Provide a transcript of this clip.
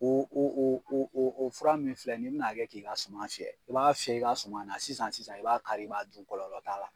Oo o o o o o fura min filɛ n'i bɛn'a kɛ k'i ka suman fiyɛ, i b'a fiyɛ i ka suman na sisan sisan i b'a kari i b'a dun kɔlɔlɔ t'a la.